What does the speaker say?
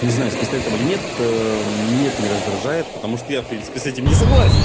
не знаю с пистолетом или нет нет не раздражает потому что я в принципе с этим не согласен